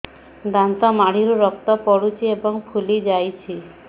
ଦାନ୍ତ ମାଢ଼ିରୁ ରକ୍ତ ପଡୁଛୁ ଏବଂ ଫୁଲି ଯାଇଛି